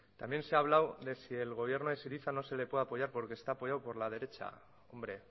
también se ha hablado de que si el gobierno de syriza no se le puede apoyar porque están apoyado por la derecha hombre